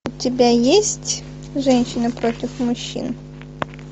у тебя есть женщины против мужчин